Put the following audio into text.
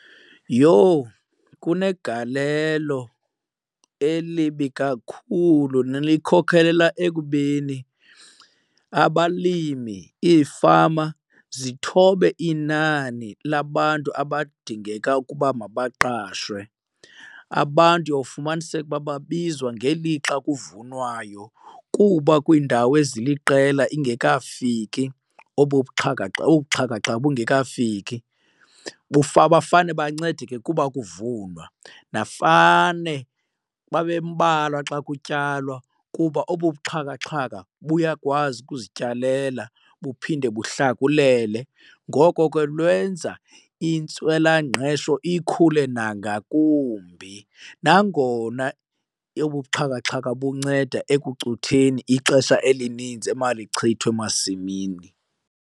Yho kunegalelo elibi kakhulu nelikhokelela ekubeni abalimi iifama zithobe inani labantu abadingeka ukuba mabaqashwe. Abantu uyofumaniseka ukuba babizwa ngelixa kuvunwayo kuba kwiindawo eziliqela ingekafiki obu buxhakaxhaka, obu xhakaxhaka bungekafiki. Bafane bancedeke kuba kuvunwa nafane babe mbalwa xa kutyalwa kuba obu buxhakaxhaka buyakwazi ukuzityalela buphinde buhlakulele. Ngoko ke lwenza intswelangqesho ikhule nangakumbi nangona obu buxhakaxhaka bunceda ekucutheni ixesha elinintsi emalichithwe emasimini.